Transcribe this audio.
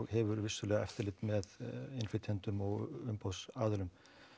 hefur vissulega eftirlit með innflytjendum og umboðsaðilum